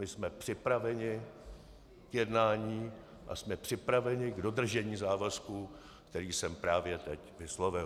My jsme připraveni k jednání a jsme připraveni k dodržení závazku, který jsem právě teď vyslovil.